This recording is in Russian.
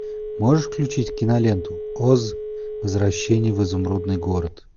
можешь включить киноленту оз возвращение в изумрудный город